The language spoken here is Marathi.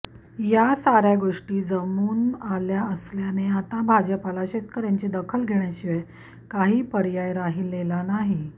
या सार्या गोष्टी जमून आल्या असल्याने आता भाजपाला शेतकर्यांची दखल घेण्याशिवाय काही पर्याय राहिलेला नाही